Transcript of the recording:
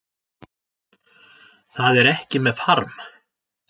Það er ekki með farm